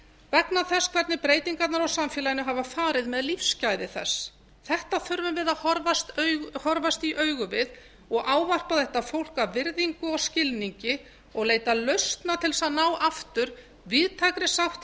vegna þess hvernig breytingarnar á samfélaginu hafa farið með lífsgæði þess þetta þurfum við að horfast í augu við og ávarpa þetta fólk af virðingu og skilningi og leita lausna til að ná aftur víðtækri sátt í